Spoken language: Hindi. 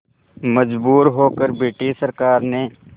मजबूर होकर ब्रिटिश सरकार ने